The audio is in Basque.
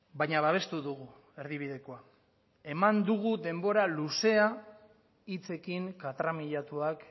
baina babestu dugu erdibidekoa eman dugu denbora luzea hitzekin katramilatuak